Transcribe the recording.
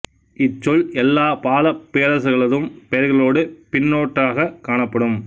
இச் சொல் எல்லாப் பாலப் பேரரசர்களதும் பெயர்களோடு பின்னொட்டாகக் காணப்படும்